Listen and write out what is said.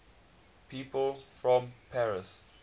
people from paris